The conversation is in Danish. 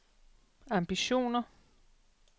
ambitioner